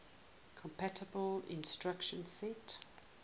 compatible instruction set